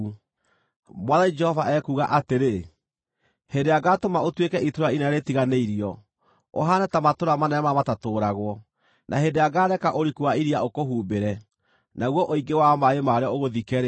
“Mwathani Jehova ekuuga atĩrĩ: Hĩndĩ ĩrĩa ngaatũma ũtuĩke itũũra inene rĩtiganĩirio, ũhaane ta matũũra manene marĩa matatũũragwo, na hĩndĩ ĩrĩa ngaareka ũriku wa iria ũkũhumbĩre, naguo ũingĩ wa maaĩ marĩo ũgũthike-rĩ,